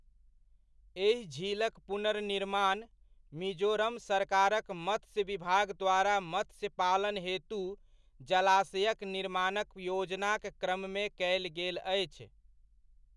एहि झीलक पुनर्निर्माण, मिजोरम सरकारक मत्स्य विभाग द्वारा मत्स्य पालन हेतु जलाशयक निर्माणक योजनाक क्रममे कयल गेल अछि।